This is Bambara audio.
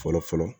Fɔlɔ fɔlɔ